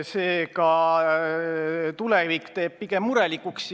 Seega tulevik teeb pigem murelikuks.